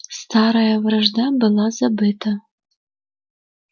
старая вражда была забыта